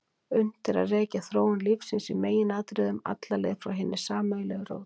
Unnt er að rekja þróun lífsins í meginatriðum alla leið frá hinni sameiginlegu rót.